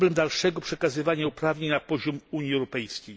Problem dalszego przekazywania uprawnień na poziom Unii Europejskiej.